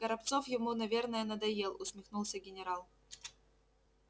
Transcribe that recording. горобцов ему наверно надоел усмехнулся генерал